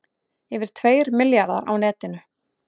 Yfir tveir milljarðar á netinu